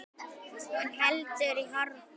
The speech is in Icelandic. Hún heldur í horfi.